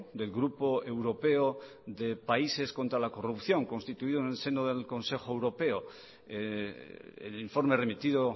del grupo europeo de países contra la corrupción constituido en el seno del consejo europeo el informe remitido